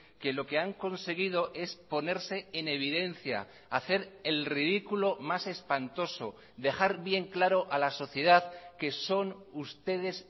que lo que han conseguido es ponerse en evidencia hacer el ridículo más espantoso dejar bien claro a la sociedad que son ustedes